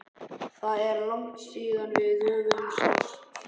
Það er langt síðan við höfum sést